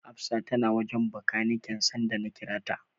Hafsa tana wajen Bakaniken sanda na kira ta.